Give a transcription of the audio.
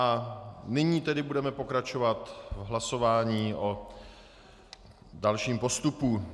A nyní tedy budeme pokračovat v hlasování o dalším postupu.